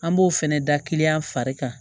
An b'o fɛnɛ da kiliyan fari kan